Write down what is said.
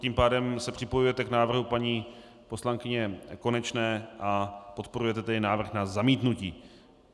Tím pádem se připojujete k návrhu paní poslankyně Konečné a podporujete tedy návrh na zamítnutí.